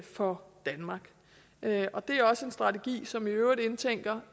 for danmark det er også en strategi som i øvrigt indtænker